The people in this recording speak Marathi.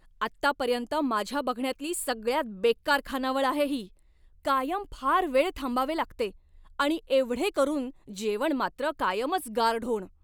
आत्तापर्यंत माझ्या बघण्यातली सगळ्यात बेकार खानावळ आहे ही. कायम फार वेळ थांबावे लागते आणि एवढे करून जेवण मात्र कायमच गारढोण.